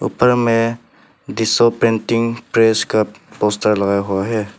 ऊपर में डिशो प्रिंटिंग प्रेस का पोस्टर लगा हुआ है।